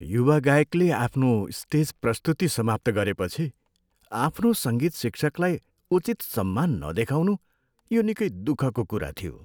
युवा गायकले आफ्नो स्टेज प्रस्तुति समाप्त गरेपछि आफ्नो सङ्गीत शिक्षकलाई उचित सम्मान नदेखाउनु यो निकै दुःखको कुरा थियो।